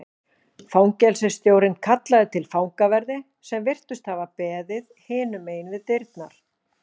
Fangelsisstjórinn kallaði til fangaverði sem virtust hafa beðið hinum megin við dyrnar.